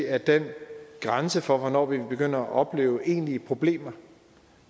at den grænse for hvornår vi begynder at opleve egentlige problemer